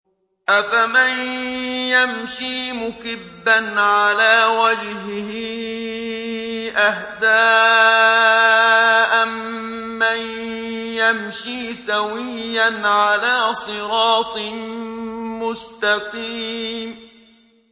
أَفَمَن يَمْشِي مُكِبًّا عَلَىٰ وَجْهِهِ أَهْدَىٰ أَمَّن يَمْشِي سَوِيًّا عَلَىٰ صِرَاطٍ مُّسْتَقِيمٍ